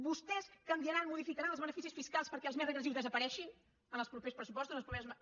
vostès canviaran modificaran els beneficis fiscals perquè els més regressius desapareguin en els propers pressupostos en les properes mesures